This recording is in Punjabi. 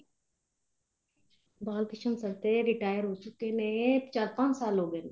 ਬਾਲ ਕ੍ਰਿਸ਼ਨ sir ਤੇ retire ਹੋ ਚੁੱਕੇ ਨੇ ਚਾਰ ਪੰਜ ਸਾਲ ਹੋ ਗਏ ਨੇ